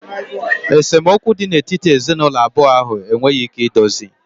Esemokwu dị n'etiti ezinụlọ abụọ ahụ enweghị ike idozi